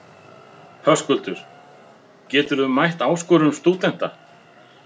Höskuldur: Geturðu mætt áskorun stúdenta?